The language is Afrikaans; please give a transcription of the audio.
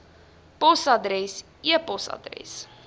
posadres e posadres